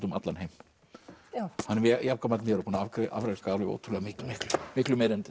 um allan heim hann er jafngamall mér og búinn að afreka alveg ótrúlega miklu miklu miklu meira en